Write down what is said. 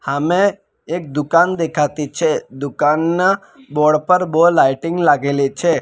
હામે એક દુકાન દેખાતી છે દુકાનના બોર્ડ પર બો લાઇટિંગ લાગેલી છે.